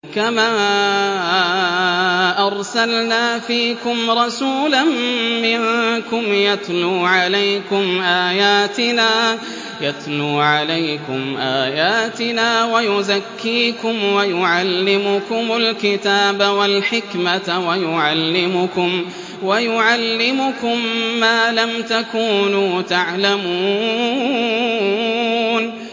كَمَا أَرْسَلْنَا فِيكُمْ رَسُولًا مِّنكُمْ يَتْلُو عَلَيْكُمْ آيَاتِنَا وَيُزَكِّيكُمْ وَيُعَلِّمُكُمُ الْكِتَابَ وَالْحِكْمَةَ وَيُعَلِّمُكُم مَّا لَمْ تَكُونُوا تَعْلَمُونَ